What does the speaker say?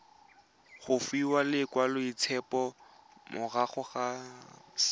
go fiwa lekwaloitshupo morago ga